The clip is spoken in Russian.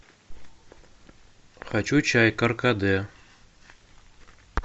хочу чай каркаде